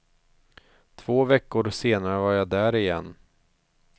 Två veckor senare var jag där igen.